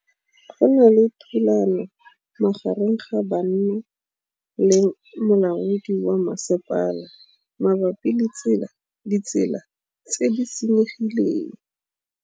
Go na le thulanô magareng ga banna le molaodi wa masepala mabapi le ditsela tse di senyegileng.